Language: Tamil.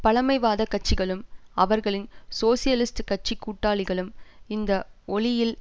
பழமைவாதக்கட்சிகளும் அவர்களின் சோசியலிஸ்ட் கட்சி கூட்டாளிகளும் இந்த ஒளியில்